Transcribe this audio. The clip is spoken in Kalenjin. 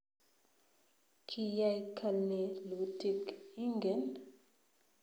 Kiyai kalelutik ingen?